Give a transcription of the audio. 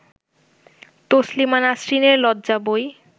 তসলিমা নাসরিনের লজ্জা বই